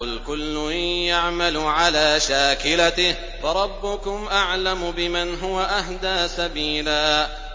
قُلْ كُلٌّ يَعْمَلُ عَلَىٰ شَاكِلَتِهِ فَرَبُّكُمْ أَعْلَمُ بِمَنْ هُوَ أَهْدَىٰ سَبِيلًا